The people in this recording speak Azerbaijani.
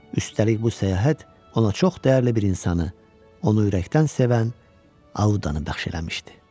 Üstəlik bu səyahət ona çox dəyərli bir insanı, onu ürəkdən sevən Audanı bəxş eləmişdi.